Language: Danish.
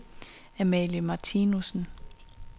Amalie Martinussen